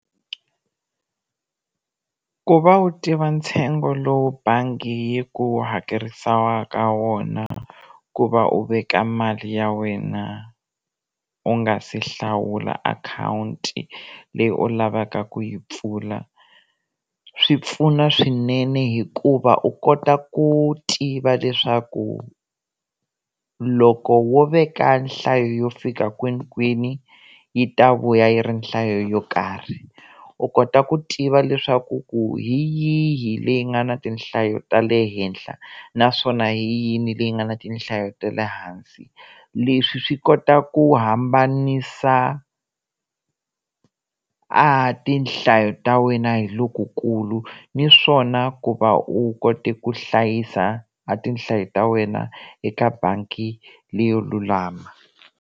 Ku va u tiva ntsengo lowu bangi yi ku hakerisaka wona ku va u veka mali ya wena u nga si hlawula akhawunti leyi u lavaka ku yi pfula swi pfuna swinene hikuva u kota ku tiva leswaku loko wo veka nhlayo yo fika kwinikwini yi ta vuya yi ri nhlayo yo karhi u kota ku tiva leswaku ku hi yihi leyi nga ni tinhlayo ta le henhla naswona hi yini leyi nga ni tinhlayo ta le hansi leswi swi kota ku hambanisa a tinhlayo ta wena hi lokukulu naswona ku va u kota ku hlayisa a tinhlayo ta wena eka bangi leyo lulama.